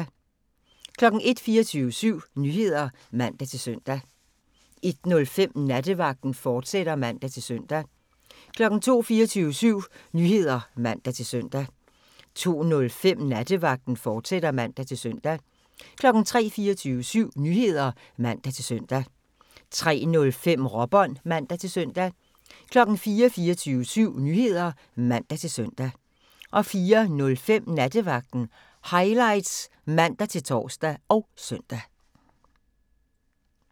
01:00: 24syv Nyheder (man-søn) 01:05: Nattevagten, fortsat (man-søn) 02:00: 24syv Nyheder (man-søn) 02:05: Nattevagten, fortsat (man-søn) 03:00: 24syv Nyheder (man-søn) 03:05: Råbånd (man-søn) 04:00: 24syv Nyheder (man-søn) 04:05: Nattevagten Highlights (man-tor og søn)